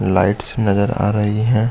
Lights नज़र आ रही है।